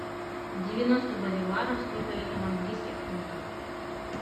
девяносто боливаров сколько это в английских фунтах